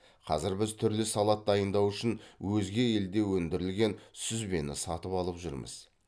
қазір біз түрлі салат дайындау үшін өзге елде өндірілген сүзбені сатып алып жүрміз